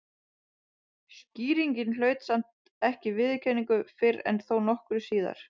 Skýringin hlaut samt ekki viðurkenningu fyrr en þó nokkru síðar.